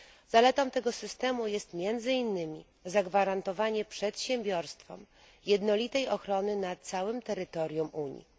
Zaletą tego systemu jest między innymi zagwarantowanie przedsiębiorstwom jednolitej ochrony na całym terytorium Unii.